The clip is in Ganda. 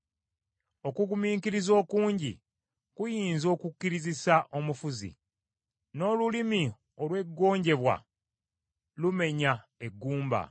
Okugumiikiriza okungi kuyinza okukkirizisa omufuzi, n’olulimi olw’eggonjebwa lumenya eggumba.